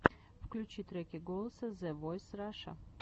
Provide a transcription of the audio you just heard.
включи треки голоса зэ войс раша